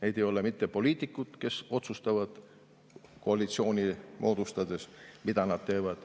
Need ei ole mitte poliitikud, kes otsustavad koalitsiooni moodustades, mida nad teevad,